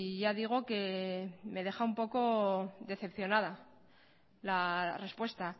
ya digo que me deja un poco decepcionada la respuesta